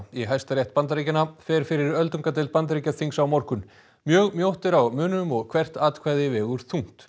í Hæstarétt Bandaríkjanna fer fyrir öldungadeild Bandaríkjaþings á morgun mjög mjótt er á munum og hvert atkvæði vegur þungt